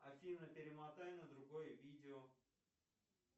афина перемотай на другое видео